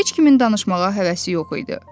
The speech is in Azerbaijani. Heç kimin danışmağa həvəsi yox idi.